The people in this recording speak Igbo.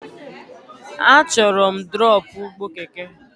Achọrọ m drọpụ ụgbọ keke!